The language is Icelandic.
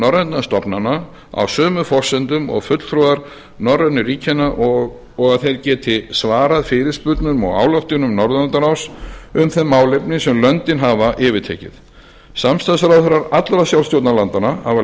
norrænna stofnanna á sömu forsendum og fulltrúar norrænu ríkjanna og að þeir geti svarað fyrirspurnum og ályktunum norðurlandaráðs um þau málefni sem löndin hafa yfirtekið samstarfsráðherrar allra sjálfstjórnarlandanna hafa